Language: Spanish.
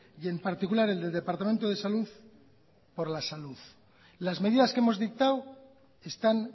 y en particular el del departamento de salud por la salud las medidas que hemos dictado están